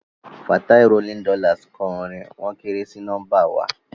Fatai rolling dollars kọ orin "wọ́n kéré sí nọ́mbà wa"